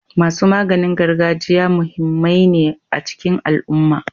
Masu maganin gargajiya muhimmai ne a cikin al'umma.